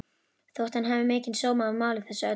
Þótti hann hafa mikinn sóma af máli þessu öllu.